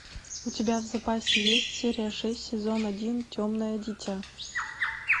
у тебя в запасе есть серия шесть сезон один темное дитя